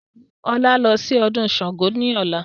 Mú ọlá lọ sí ọdún Sángo ni ọ̀la!